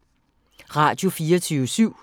Radio24syv